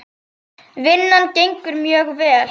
Vinnan gengur mjög vel.